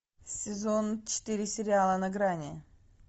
сезон четыре сериала на грани